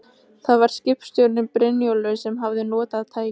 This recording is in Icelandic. Það var skipstjórinn, Brynjólfur, sem hafði notað tæki